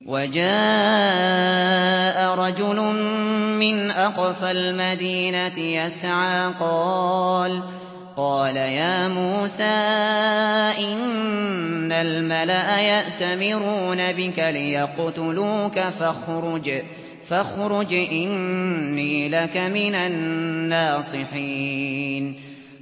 وَجَاءَ رَجُلٌ مِّنْ أَقْصَى الْمَدِينَةِ يَسْعَىٰ قَالَ يَا مُوسَىٰ إِنَّ الْمَلَأَ يَأْتَمِرُونَ بِكَ لِيَقْتُلُوكَ فَاخْرُجْ إِنِّي لَكَ مِنَ النَّاصِحِينَ